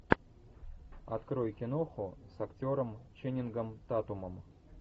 открой киноху с актером ченнингом татумом